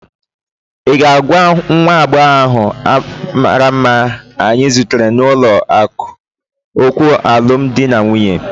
Ị ga-agwa nwa agbọghọ ahụ mara mma anyị zutere n'ụlọ akụ okwu alumdi na nwụnye?